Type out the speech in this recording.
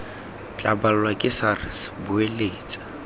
tla balwa ke sars boeletsa